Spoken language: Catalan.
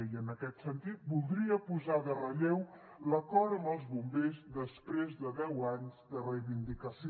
i en aquest sentit voldria posar en relleu l’acord amb els bombers després de deu anys de reivindicació